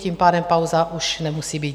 Tím pádem pauza už nemusí být.